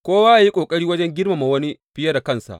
Kowa yă yi ƙoƙari wajen girmama wani fiye da kansa.